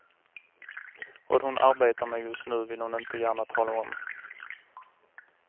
Vad hon arbetar med just nu vill hon inte gärna tala om.